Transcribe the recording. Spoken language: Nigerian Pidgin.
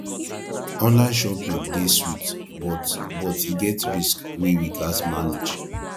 online shopping dey sweet but but e get risk wey we gats manage